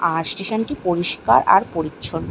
আর station - টি পরিষ্কার আর পরিচ্ছন্ন ।